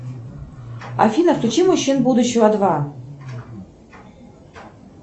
афина включи мужчин будущего два